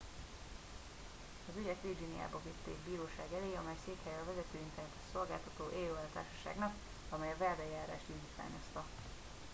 "az ügyet virginiában vitték bíróság elé amely székhelye a vezető internetes szolgáltató "aol""-társaságnak amely a vádeljárást indítványozta.